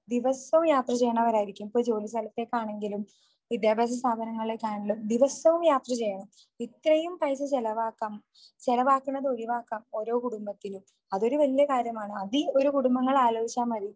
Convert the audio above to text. ദിവസവും യാത്ര ചെയ്യുന്നവരായിരിക്കും ഇപ്പൊ ജോലി സ്ഥലത്തേക്കാണെങ്കിലും വിദ്യാഭ്യാസ സ്ഥാപനങ്ങളിലേക്കാണെങ്കിലും ദിവസവും യാത്ര ചെയ്യണം. ഇത്രയും പൈസ ചെലവാക്കാൻ, ചെലവാക്കുന്നത് ഒഴിവാക്കാം ഓരോ കുടുംബത്തിനും.അതൊരു വലിയ കാര്യമാണ്. അതീ ഓരോ കുടുംബങ്ങൾ ആലോചിച്ചാൽ മതി